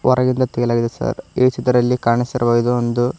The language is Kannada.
ಹೊರಗಿಂದ ತೆಗೆಯಲಾಗಿದೆ ಸರ್ ಈ ಚಿತ್ರದಲ್ಲಿ ಕಾಣಿಸಿರುವ ಇದು ಒಂದು--